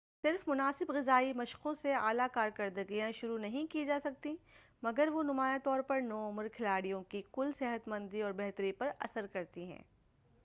صرف مناسب غذائی مشقوں سے اعلیٰ کارکردگیاں شروع نہیں کی جاسکتیں مگر وہ نمایاں طور پر نوعُمر کھلاڑیوں کی کُل صحتمندی اور بہتری پر اثرکرتی ہیں